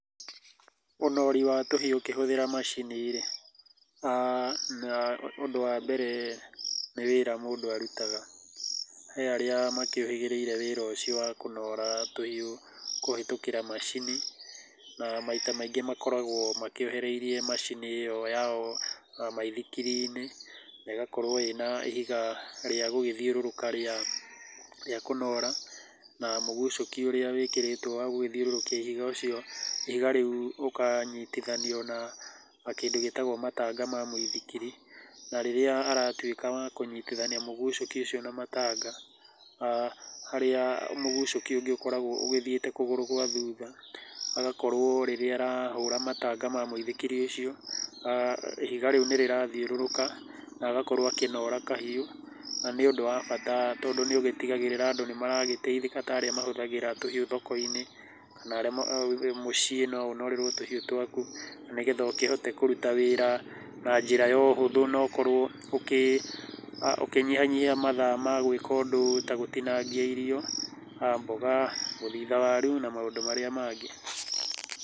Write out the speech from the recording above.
Ũnori wa tũhiũ ũkĩhũthĩra macini rĩ, ũndũ wa mbere nĩ wĩra mũndũ arutaga. He arĩa makĩũhĩgĩrĩire wĩra ũcio wa kũnora tũhiũ, kũhĩtũkĩra macini, na maita maingĩ makoragũo makĩohereire macini ĩyo yao macini-inĩ maithikiri-inĩ na ĩgakorũo ĩna ihiga rĩa gũgĩthiũrũka rĩa, rĩa kũnora. Na mũgucũki ũria wĩkĩrĩtũo wa gũgĩthiũrũrũkia ihiga ũcio, ihiga rĩu ũkanyitithanio na kĩndũ gĩtagwo matanga ma mũithikiri, na rĩrĩa aratuĩka wa kũnyitithania mũgucũki ucio na matanga, harĩa mũgucũki ũngĩ ũgĩkoragũo ũgĩthiĩte kũgũrũ gwa thutha, agakorũo rĩrĩa ĩrahũra matanga ma mũithikiri ũcio, ihiga rĩu nĩ rĩrathiũrũrũka na agakorũo akĩnora kahiũ na ni ũndũ wa bata tondũ nĩ ũgĩtigagĩrĩra atĩ andũ nĩ maragĩteithĩka ta arĩa makĩhũthĩraga tũhiu thoko-inĩ kana mũciĩ no ũnorerwo tũhiu twaku na nĩgetha ũkihote kũruta wĩra na njĩra ya ũhũthu na ũkorũo ũkĩnyihanyihia mathaa ma gwĩka ũndũ ta gũtinagia irio, mboga, gũthitha waru na maũndũ marĩa mangĩ.